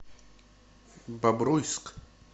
бобруйск